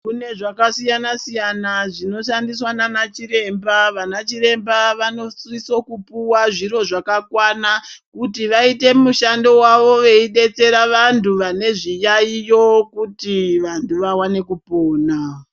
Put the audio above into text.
Kune zvakasiyana siyana zvinoshandiswa nanachiremba. Vanachiremba vanosiso kupuwa zviro zvakakwana kuti vaiye mushando wavo veidetsera vantu vane zviyaiyo kuti vantu vawane kupona.